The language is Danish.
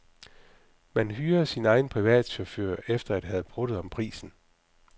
Man hyrer sin egen privatchauffør efter at have pruttet om prisen.